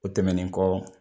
O tɛmɛnen kɔ